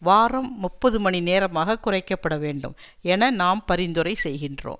வாரம் முப்பது மணி நேரமாக குறைக்க பட வேண்டும் என நாம் பரிந்துரை செய்கின்றோம்